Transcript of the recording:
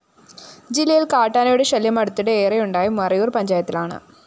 ജില്ലയില്‍ കാട്ടാനയുടെ ശല്യം അടുത്തിടെ ഏറെയുണ്ടായത് മറയൂര്‍ പഞ്ചായത്തിലാണ്